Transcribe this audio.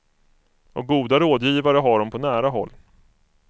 Och goda rådgivare har hon på nära håll.